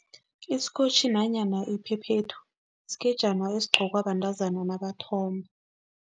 Isikotjhi nanyana iphephethu sikejana esigqokwa bantazana nabathomba.